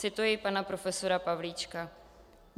Cituji pana profesora Pavlíčka.